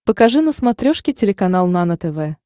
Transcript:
покажи на смотрешке телеканал нано тв